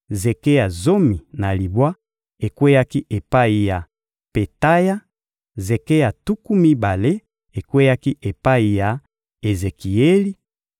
zeke ya zomi na libwa ekweyaki epai ya Petaya; zeke ya tuku mibale ekweyaki epai ya Ezekieli;